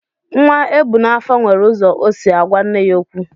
Nwa ebu n'afọ nwere ụzọ o si agwa nne ya okwu.